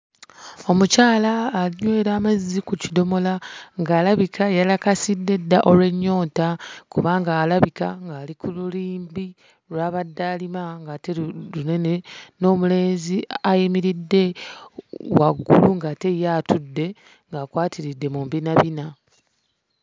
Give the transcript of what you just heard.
Omukyala anywera amazzi ku kidomola ng'alabika yalakasidde dda olw'ennyonta kubanga alabika ali ku lirimbi lw'abadde alima ng'ate lu lunene, n'omulenzi ayimiridde waggulu ng'ate ye atudde ng'akwatiridde mu mbinabina.